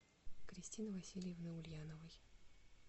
кристины васильевны ульяновой